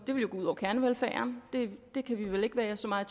ville gå ud over kernevelfærden det kan vi vel ikke være så meget